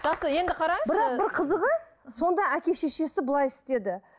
жақсы енді қараңызшы бірақ бір қызығы сонда әке шешесі былай істеді